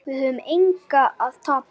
Við höfum engu að tapa.